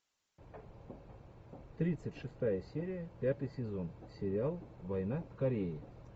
тридцать шестая серия пятый сезон сериал война в корее